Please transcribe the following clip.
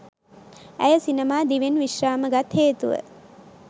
ඇය සිනමා දිවියෙන් විශ්‍රාම ගත් හේතුව